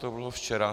To bylo včera.